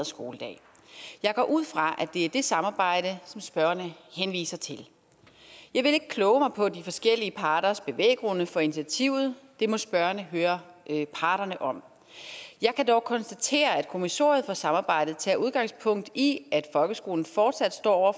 skoledag jeg går ud fra at det er det samarbejde som spørgerne henviser til jeg vil ikke kloge mig på de forskellige parters bevæggrunde for initiativet det må spørgerne høre parterne om jeg kan dog konstatere at kommissoriet for samarbejdet tager udgangspunkt i at folkeskolen fortsat står over